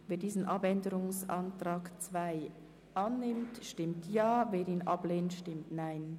Wer diesen Abänderungsantrag annimmt, stimmt Ja, wer diesen ablehnt, stimmt Nein.